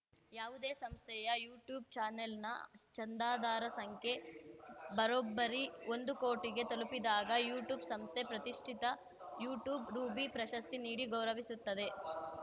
ಯಾವುದೇ ಸಂಸ್ಥೆಯ ಯುಟ್ಯೂಬ್‌ ಚಾನೆಲ್‌ನ ಚಂದಾದಾರ ಸಂಖ್ಯೆ ಬರೋಬ್ಬರಿ ಒಂದು ಕೋಟಿಗೆ ತಲುಪಿದಾಗ ಯುಟ್ಯೂಬ್‌ ಸಂಸ್ಥೆ ಪ್ರತಿಷ್ಟಿತ ಯುಟ್ಯೂಬ್‌ ರೂಬಿ ಪ್ರಶಸ್ತಿ ನೀಡಿ ಗೌರವಿಸುತ್ತದೆ